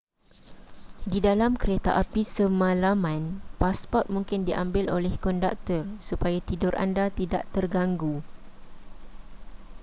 di dalam kereta api semalaman pasport mungkin diambil oleh konduktor supaya tidur anda tidak terganggu